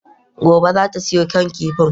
Gobe ​​zata siyo kan kifin?